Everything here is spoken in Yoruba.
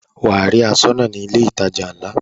Wà á rí aṣọ́nà ní ilé ìtajà ńlá.